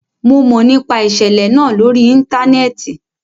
Mo mọ nipa iṣẹlẹ naa lori íńtánẹ́ẹ̀tì